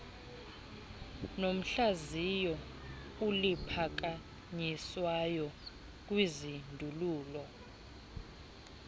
nohlaziyo oluphakanyiswayo kwizindululo